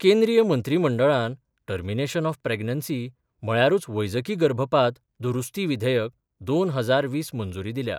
केंद्रीय मंत्रीमंडळान termination of pregnancy म्हळ्यारूच वैजकी गर्भपात दुरुस्ती विधेयक दोन हजार वीस मंजुरी दिल्या.